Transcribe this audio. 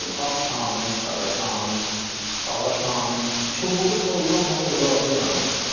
Ağ şanı, qara şanı, ala şanı, çubuğu tollanmaq ocaqda yanıb.